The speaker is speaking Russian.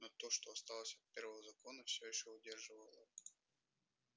но то что осталось от первого закона все ещё удерживало его